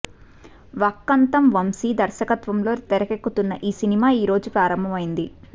వక్కంతం వంశీ దర్శకత్వంలో తెరకెక్కుతున్న ఈ సినిమా ఈ రోజు ప్రారంభమైంది